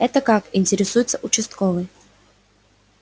это как интересуется участковый